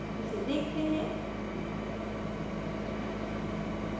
इसे देखते हैं